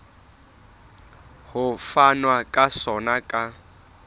ho fanwa ka sona ka